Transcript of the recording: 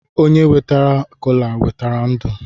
Onye wetara kola eweta ndu